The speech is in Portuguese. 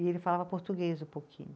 E ele falava português um pouquinho.